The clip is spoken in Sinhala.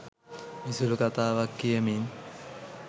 විසුලු කතාවක් කියමින්